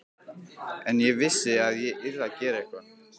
En ég vissi að ég yrði að gera eitthvað.